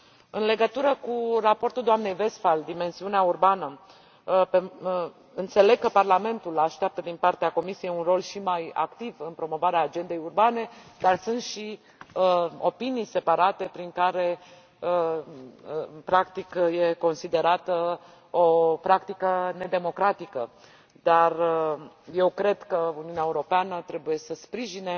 În legătură cu raportul doamnei Westphal referitor la dimensiunea urbană, înțeleg că Parlamentul așteaptă din partea Comisiei un rol și mai activ în promovarea agendei urbane, dar sunt și opinii separate, prin care, practic, este considerată o practică nedemocratică. Eu cred că Uniunea Europeană trebuie să sprijine